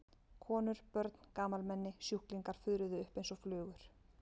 Konur, börn, gamalmenni, sjúklingar fuðruðu upp einsog flugur.